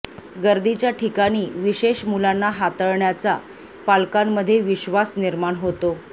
गर्दीच्या ठिकाणी विशेष मुलांना हाताळण्याचा पालकांमध्ये विश्वास निर्माण होतो